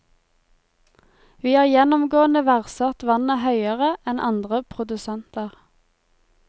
Vi har gjennomgående verdsatt vannet høyere enn andre produsenter.